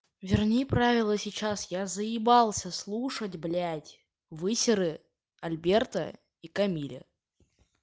верни правила сейчас я заебался слушать блять высеры альберта и камиля